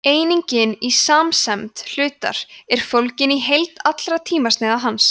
einingin í samsemd hlutar er fólgin í heild allra tímasneiða hans